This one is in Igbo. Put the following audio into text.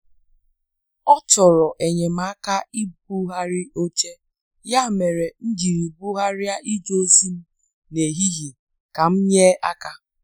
Ọ chọrọ enyemaka ibugharị oche, ya mere m jiri bugharịa ije ozi m n' ehihie ka m nye aka.